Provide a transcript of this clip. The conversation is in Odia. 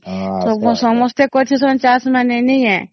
ସସମତେ କରୁଛନ୍ତି ଚାଷ ମାନେ ନାଇଁ ୟା